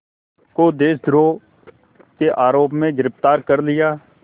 को देशद्रोह के आरोप में गिरफ़्तार कर लिया